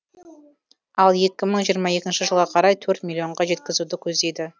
ал екі мың жиырма екінші жылға қарай төрт миллионға жеткізуді көздейді